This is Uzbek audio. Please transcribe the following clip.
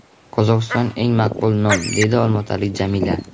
Qozog‘iston – eng maqbul nom,” deydi olmaotalik Jamila.